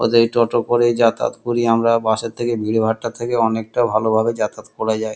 ওদের এই টোটো করেই যাতায়াত করি। আমরা বাস এর থেকে ভীড় ভাট্টার থেকে অনেক ভালো করে যাতায়াত করা যায় ।